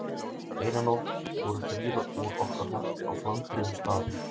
Eina nótt voru þrír úr okkar hópi á flandri um staðinn.